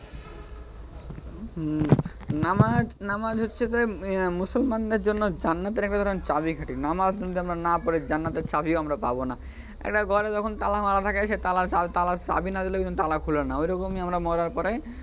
উহ নামাজ, নামাজ হচ্ছে যে মুসলমানদের জন্য জান্নাতের একরকম চাবি কাঠি. নামাজ যদি আমরা না পড়ি, তাহলে জান্নাতের চাবিও আমরা পাব না. একটা ঘরে যখন তালা মারা থাকে সেই তালার চাবি না দিলে কিন্তু সেই তালা খোলে না অইরকমই আমরা মরার পরে,